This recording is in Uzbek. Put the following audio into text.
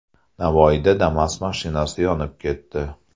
Navoiyda Damas mashinasi yonib ketdi .